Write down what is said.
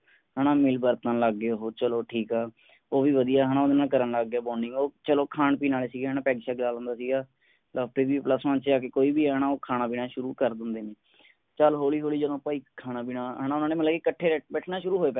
ਹੈ ਨਾ ਮਿਲ ਵਰਤਣ ਲੱਗ ਗਏ ਉਹ, ਚਲੋ ਠੀਕ ਹੈ। ਉਹ ਵੀ ਵਧੀਆ ਹੈ ਨਾ ਓਹਦੇ ਨਾਲ ਕਰਨ ਲੱਗ ਗਿਆ bonding ਉਹ ਚਲੋ ਖਾਣ ਪੀਣ ਆਲੇ ਸੀਗੇ ਹੈ ਨਾ, ਪੈਗ ਸ਼ੈਗ ਲਾ ਲਿੰਦਾ ਸੀਗਾ। plus one ਛੇ ਆਕੇ ਕੋਈ ਵੀ ਹੈ ਨਾ ਖਾਣਾ ਪੀਣਾ ਸ਼ੁਰੂ ਕਰ ਦਿੰਦੇ ਨੇ। ਚੱਲ ਹੋਲੀ ਹੋਲੀ ਜਦੋਂ ਭਾਈ ਖਾਣਾ ਪੀਣਾ ਹੈ ਨਾ ਮਤਲਬ ਉਨ੍ਹਾਂ ਨੇ ਇੱਕਠੇ ਬੈਠਣਾ ਸ਼ੁਰੂ ਹੋਏ ਪਹਿਲਾ।